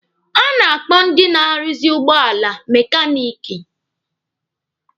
A na-akpọ ndị na-arụzị ụgbọala mekaniki.